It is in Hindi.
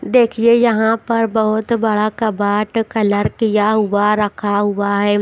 देखिए यहाँ पर बहुत बड़ा कबाट कलर किया हुआ रखा हुआ है।